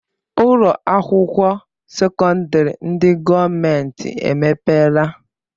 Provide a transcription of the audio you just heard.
Ụlọakwụkwọ sekọndịrị ndị gọọmenti emepeela?